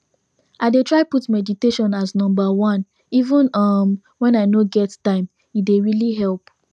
i dey try put meditation as number oneeven umwhen i no get time e dey really help